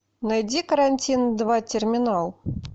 найди карантин два терминал